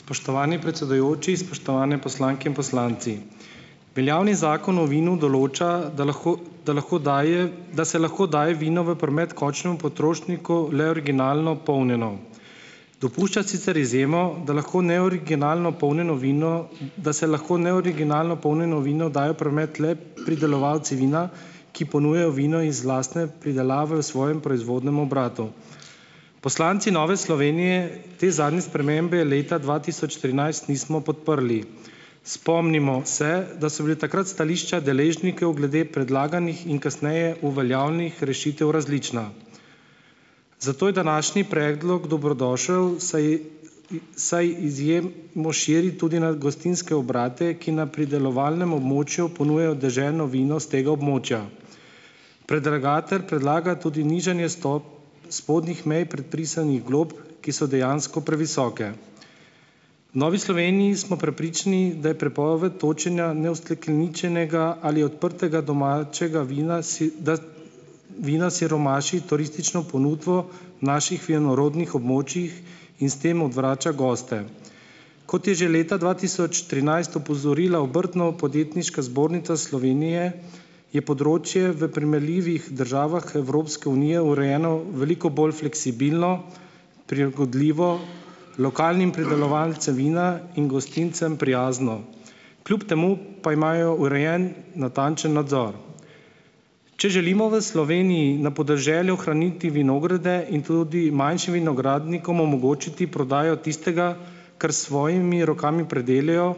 Spoštovani predsedujoči, spoštovane poslanke in poslanci! Veljavni Zakon o vinu določa, da lahko, da lahko daje, da se lahko daje vino v promet končnemu potrošniku le originalno polnjeno. Dopušča sicer izjemo, da lahko neoriginalno polnjeno vino, da se lahko neoriginalno polnjeno vino daje v promet le pridelovalci vina, ki ponujajo vino iz lastne pridelave v svojem proizvodnem obratu. Poslanci Nove Slovenije te zadnje spremembe leta dva tisoč trinajst nismo podprli. Spomnimo se, da so bili takrat stališča deležnikov glede predlaganih in kasneje uveljavljenih rešitev različna. Zato je današnji predlog dobrodošel, saj saj izjemo širi tudi na gostinske obrate, ki na pridelovalnem območju ponujajo deželno vino s tega območja. Predlagatelj predlaga tudi nižanje spodnjih mej predpisanih glob, ki so dejansko previsoke. Novi Sloveniji smo prepričani, da je prepoved točenja neustekleničenega ali odprtega domačega vina, si da, vina siromaši turistično ponudbo v naših vinorodnih območjih in s tem odvrača goste. Kot je že leta dva tisoč trinajst opozorila Obrtno-podjetniška zbornica Slovenije, je področje v primerljivih državah Evropske unije urejeno veliko bolj fleksibilno, prilagodljivo, lokalnim pridelovalcem vina in gostincem prijazno. Kljub temu pa imajo urejen natančen nadzor. Če želimo v Sloveniji na podeželju ohraniti vinograde in tudi manjšim vinogradnikom omogočiti prodajo tistega, kar s svojimi rokami pridelajo,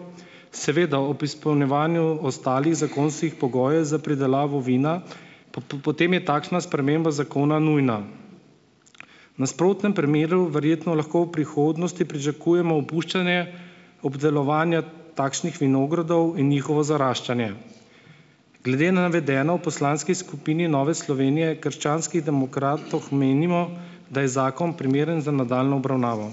seveda ob izpolnjevanju ostalih zakonskih pogojev za pridelavo vina, potem je takšna sprememba zakona nujna. V nasprotnem primeru verjetno lahko v prihodnosti pričakujemo opuščanje obdelovanja takšnih vinogradov in njihovo zaraščanje. Glede na navedeno v poslanski skupini Nove Slovenije - Krščanskih demokratov menimo, da je zakon primerno za nadaljnjo obravnavo.